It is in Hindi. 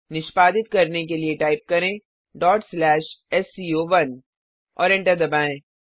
निष्पादित करने के लिए टाइप करें sco1 और एंटर दबाएँ